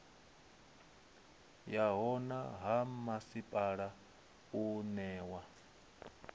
yaho ha masipala une wa